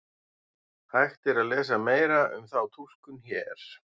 Hægt er að lesa meira um þá túlkun hér.